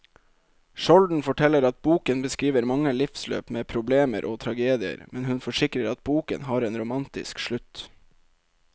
Skjolden forteller at boken beskriver mange livsløp med problemer og tragedier, men hun forsikrer at boken har en romantisk slutt.